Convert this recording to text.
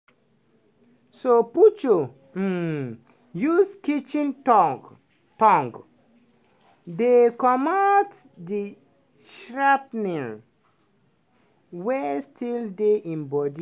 so puchu um use kitchen tong tong dey comot di shrapnel wey still dey im body.